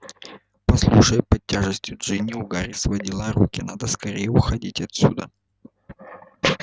послушай под тяжестью джинни у гарри сводило руки надо скорее уходить отсюда